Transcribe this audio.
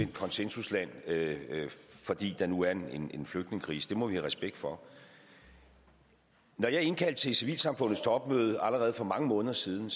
konsensusland fordi der nu er en en flygtningekrise det må vi have respekt for når jeg indkaldte til civilsamfundets topmøde allerede for mange måneder siden